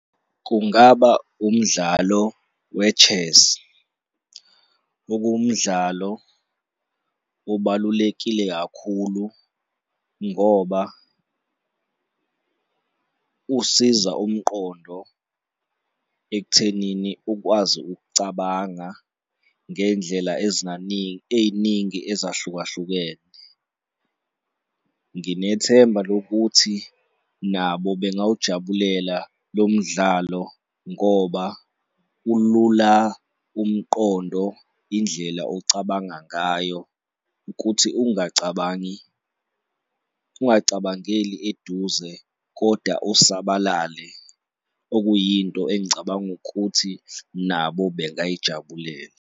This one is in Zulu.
Kungaba umdlalo we-chess, okuwumdlalo obalulekile kakhulu ngoba usiza umqondo ekuthenini ukwazi ukucabanga ngey'ndlela ey'ningi ezahlukahlukene. Nginethemba lokuthi nabo bengawaujabulela lo mdlalo ngoba ulula umqondo, indlela ocabanga ngayo, kuthi ungacabangi ungacabangeli eduze kodwa usabalale okuyinto engicabanga ukuthi nabo bengayijabulela.